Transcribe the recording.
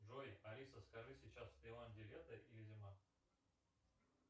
джой алиса скажи сейчас в тайланде лето или зима